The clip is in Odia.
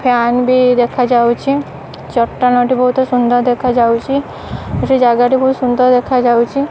ଫ୍ୟାନ୍ ବି ଦେଖାଯାଉଛି ଚଟାଣଟି ବହୁତ ସୁନ୍ଦର ଦେଖାଯାଉଛି ଏଠି ଜାଗାଟି ବହୁତ ସୁନ୍ଦର ଦେଖାଯାଉଛି।